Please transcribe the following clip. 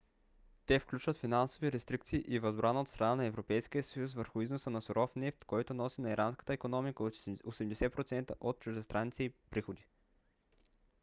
те включват финансови рестрикции и възбрана от страна на европейския съюз върху износа на суров нефт който носи на иранската икономика 80% от чуждестранните ѝ приходи